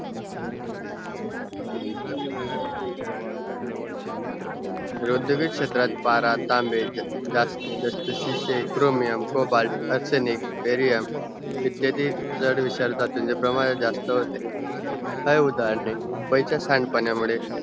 रोधविक क्षेत्रात पारा, तांबे, जा जस्तातिचे chromiumcobaltarchanicberium इत्यादिक झडविचारात त्यांचा प्रमाणे जास्त होते हाय उदाराने मुंबईचा सांडपाण्या मुळे